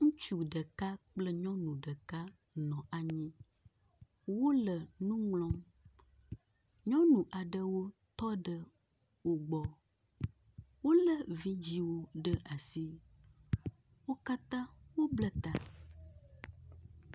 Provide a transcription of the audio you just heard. Ŋutsu ɖeka kple nyɔnu ɖeka nɔ anyi, wole nuŋlɔm. Nyɔnu aɖewo tɔ ɖe wogbɔ, wole vidziwo ɖe asi, wo katã wo blɛta.